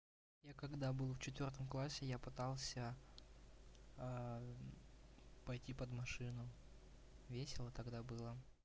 я когда был в четвёртом классе я пытался пойти под машину весело тогда было